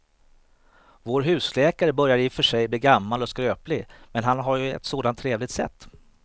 Vår husläkare börjar i och för sig bli gammal och skröplig, men han har ju ett sådant trevligt sätt!